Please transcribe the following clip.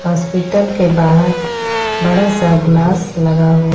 hospital के बाहर बड़ा सा ग्लास लगा हुआ--